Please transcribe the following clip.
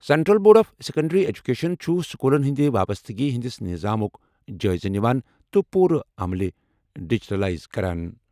Central board of secondary education چھُ سکوٗلَن ہٕنٛدِ وابستگی ہِنٛدِس نظامُک جٲیزٕ نِوان تہٕ پوٗرٕ عملہِ ڈیجیٹل لائز کران۔